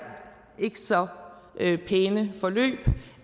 ikke så pæne forløb